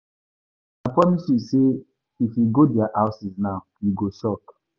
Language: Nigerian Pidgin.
I promise you say if you go their houses now, you go shock.